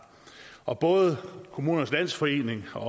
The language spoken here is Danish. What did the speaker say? og både kommunernes landsforening og